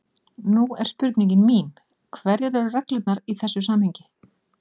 Nú er spurning mín: Hverjar eru reglurnar í þessu samhengi?